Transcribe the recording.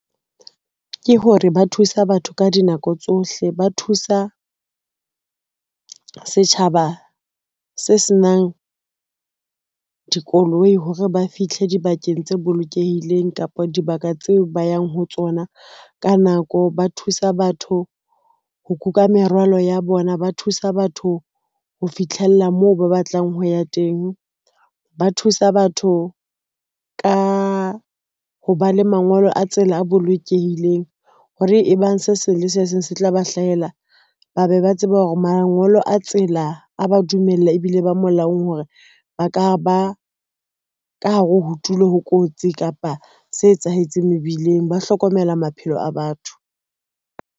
Ke hore ba thusa batho ka dinako tsohle, ba thusa setjhaba se senang dikoloi hore ba fihle dibakeng tse bolokehileng kapa dibaka tseo ba yang ho tsona ka nako. Ba thusa batho ho kuka merwalo ya bona, ba thusa batho ho fitlhella moo ba batlang ho ya teng, ba thusa batho ka ho ba le mangolo a tsela e bolokehileng hore e bang se seng le se seng se tla ba hlahela, ba be ba tseba hore mangolo a tsela a ba dumella ebile ba molaong hore ba ka ba ka hare ho tulo, ho kotsi kapa se etsahetseng mebileng, ba hlokomela maphelo a batho.